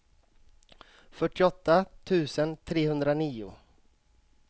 fyrtioåtta tusen trehundranio